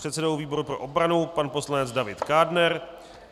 předsedou výboru pro obranu pan poslanec David Kádner,